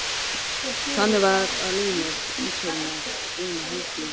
Þannig var að líf mitt umturnaðist eina helgi.